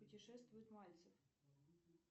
путешествует мальцев